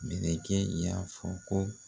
Mɛlɛkɛ y'a fɔ ko